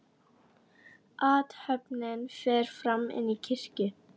Athöfnin fer fram inni í kirkju.